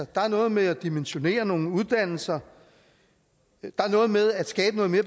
der er noget med at dimensionere nogle uddannelser der er noget med at skabe noget mere